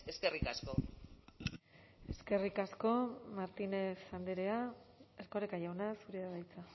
eskerrik asko eskerrik asko martínez andrea erkoreka jauna zurea da hitza